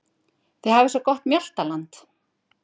Þið hafið svo gott mjaltaland.